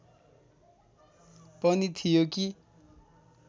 पनि थियो कि